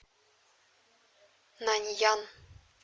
наньян